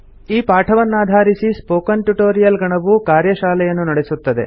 ಈ ಪಾಠವನ್ನಾಧಾರಿಸಿ spoken tutorial ಗಣವು ಕಾರ್ಯಶಾಲೆಯನ್ನು ನಡೆಸುತ್ತದೆ